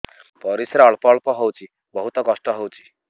ପରିଶ୍ରା ଅଳ୍ପ ଅଳ୍ପ ହଉଚି ବହୁତ କଷ୍ଟ ହଉଚି